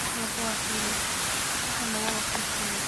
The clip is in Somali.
waxan wa kambuni.